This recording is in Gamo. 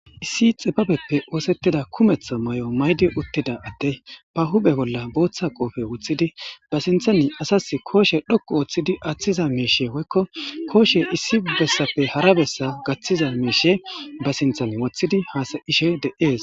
Issi xifabeppe oosettida kumetho may7o maydi uttida adde ba hubhe bolla booththa qoofe uththidi ba sinthani asas kooshe dhokku ooththidi aththiza miishe woykko kooshe issi bessappe hara bessa gaththiza miishe ba sinthan woththidi haasa ishe de'ees